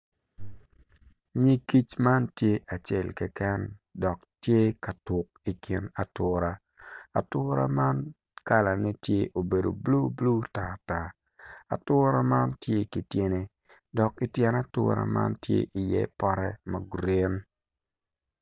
Nig kic man tye acel keken dok tye katuk ikin atura, atura man kalane tye obedo blu blu tar tar atura man tye ki tyene dok tyen atura man tye iye pote ma gurin